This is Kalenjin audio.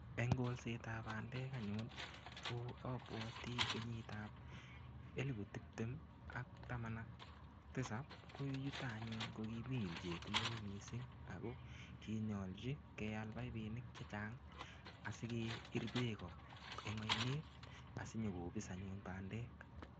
Eng kolsetab bandek anyun, ko abawati kenyitap elepu tiptem ak taman ak tisap. Ko yutok anyun, ko kimii ilchet neoo missing. Ako kinyolchi keal paipinik chechang, asike iri beek koo eng ainet, asinyikobis anyun bandek.